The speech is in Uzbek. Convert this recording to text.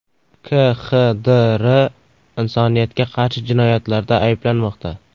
KXDR insoniyatga qarshi jinoyatlarda ayblanmoqda.